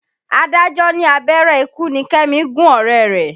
Adájọ́ ní abẹ́rẹ́ ikú ni Kẹ́mi gún ọ̀rẹ́ rẹ̀.